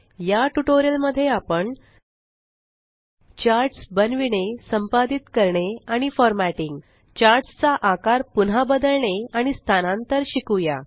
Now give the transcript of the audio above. या ट्यूटोरियल मध्ये आपण चार्ट्स बनविणे संपादित करणे आणि फॉरमॅटिंग चार्ट्स चा आकार पुन्हा बदलणे आणि स्थानांतर शिकुया